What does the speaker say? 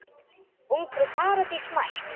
Ungfrú Paradís mætt!